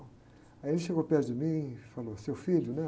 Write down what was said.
Aí ele chegou perto de mim e falou, seu filho, né?